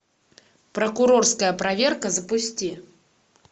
прокурорская проверка запусти